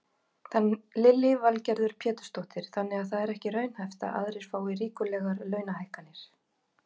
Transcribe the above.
Lillý Valgerður Pétursdóttir: Þannig að það er ekki raunhæft að aðrir fái ríkulegar launahækkanir?